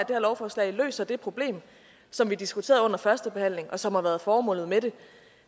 her lovforslag løser det problem som vi diskuterede under førstebehandlingen og som har været formålet med det